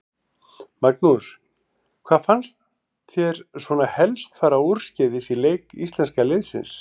Magnús: Hvað fannst þér svona helst fara úrskeiðis í leik íslenska liðsins?